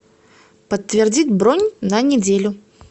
подтвердить бронь на неделю